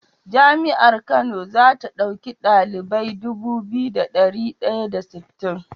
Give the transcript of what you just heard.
Jami'ar kano zata dauki ɗalibai Dubu biyu da dari daya da sittin